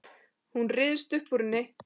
Hún ryðst upp úr henni.